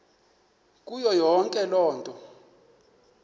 kuyo yonke loo